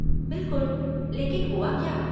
बिलकुल, लेकिन हुआ क्या?